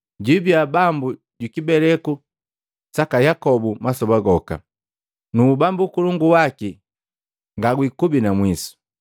Jwibiya Bambu juku kibeleku saka Yakobu masoba goka. Nu ubambu ukolongu waki ngagwikubi na mwiso!”